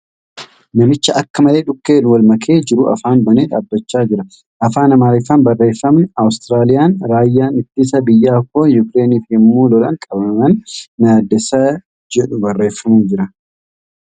Namicha akka malee dhukkeen wal makee jiru afaan banee dhaabbachaa jira. Afaan Amaariffaan barreeffamni ' Awustiraaliyaan Raayyaan Ittisa biyyaa koo Yukireeniif yemmuu lolan qabaman na yaaddeessa jedhu ' barreeffamee jira.